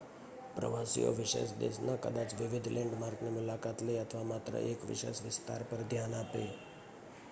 પ્રવાસીઓ વિશેષ દેશના કદાચ વિવિધ લૅન્ડમાર્કની મુલાકાત લે અથવા માત્ર એક વિશેષ વિસ્તાર પર ધ્યાન આપે